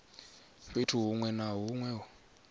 fhethu huṅwe na huṅwe hune